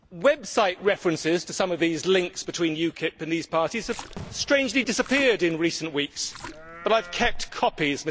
Website references to some of the links between UKIP and these parties have strangely disappeared in recent weeks, but I have kept copies.